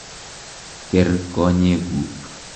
Ker konyek kuk.